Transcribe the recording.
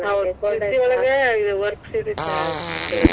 ಒಳಗೆ ಇದ work ಸೀರೆ ಚ~ ಚೆನ್ನಾಗ್ ಛಲೋ ಇರ್ತೇತಿ.